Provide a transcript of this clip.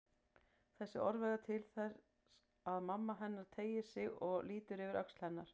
Þessi orð verða til þess að mamma hennar teygir sig og lítur yfir öxl hennar.